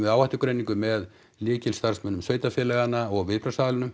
áhættugreiningu með lykilstarfsmönnum sveitarfélaga og